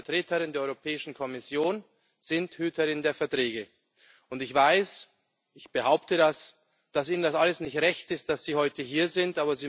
Sie als Vertreterin der Europäischen Kommission sind Hüterin der Verträge. Ich weiß, ich behaupte das, dass Ihnen das alles nicht recht ist, dass Sie heute hier sind.